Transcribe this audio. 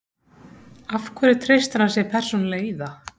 Af hverju treystir hann sér persónulega í það?